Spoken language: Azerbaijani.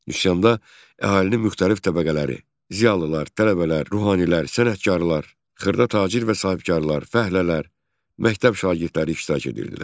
Üsyanda əhalinin müxtəlif təbəqələri, ziyalılar, tələbələr, ruhanilər, sənətkarlar, xırda tacir və sahibkarlar, fəhlələr, məktəb şagirdləri iştirak edirdilər.